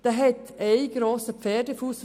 Er hat einen grossen Pferdefuss.